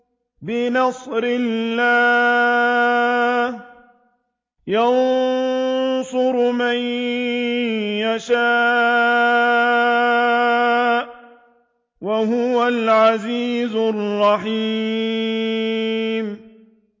بِنَصْرِ اللَّهِ ۚ يَنصُرُ مَن يَشَاءُ ۖ وَهُوَ الْعَزِيزُ الرَّحِيمُ